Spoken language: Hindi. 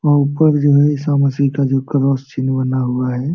व ऊपर जो है ईशा मसीह का जो क्रॉस चिन्ह बना हुआ है।